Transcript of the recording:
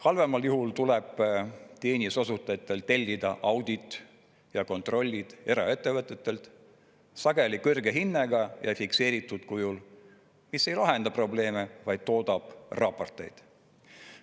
Halvemal juhul tuleb teenuse osutajatel tellida auditid ja kontrollid eraettevõtetelt, sageli kõrge hinnaga ja fikseeritud kujul, mis ei lahenda probleeme, vaid toodab raporteid.